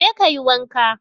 Je kayi wanka.